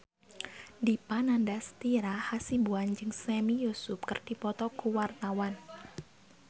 Dipa Nandastyra Hasibuan jeung Sami Yusuf keur dipoto ku wartawan